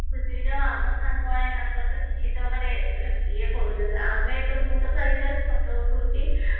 ଖୁସି ହୁଏ ଯାହା ହଉ ଆମ ସାଙ୍ଗ ମାନେ ତାଙ୍କର ତ କିଛି ତ ମାନେ ଇଏ କରୁଚନ୍ତି ଆମେ ତ ମୁଁ ତ ଖାଲି ଯାହା photo ଉଠଉଚି